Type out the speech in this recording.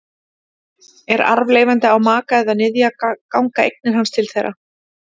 Ef arfleifandi á maka eða niðja ganga eignir hans til þeirra.